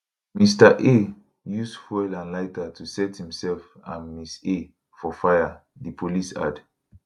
mr a use fuel and lighter to set imself and mrs a for fire di police add